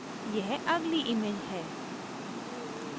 यह अगली image है